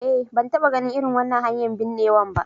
Eh, ban taba ganin irin wannan hanyar binnewa ba.